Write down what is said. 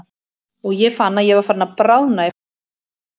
Og ég fann að ég var farin að bráðna í fanginu á honum.